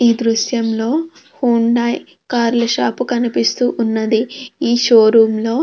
ఈ దృశ్యంలో Honda car ల షాప్ కనిపిస్తుంది. ఈ షో రూం లో --